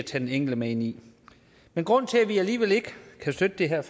den enkelte med ind i men grunden til at vi alligevel ikke kan støtte det her